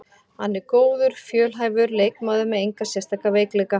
Hann er góður, fjölhæfur leikmaður með enga sérstaka veikleika.